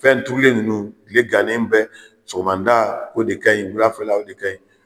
Fɛnturulen ninnu, tile gannen bɛ, sɔgɔmada o de ka ɲin ,wulafɛ o de ka ɲi.